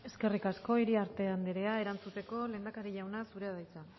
eskerrik asko iriarte andrea erantzuteko lehendakari jauna zurea da hitza